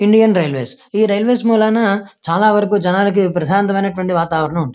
Indian railways ఈ railways మూలన చాలా వరకు జనాలకి చాలా ప్రశాంతమైనాటివాటి వాతావరణం --